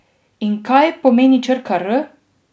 In kaj pomeni črka R?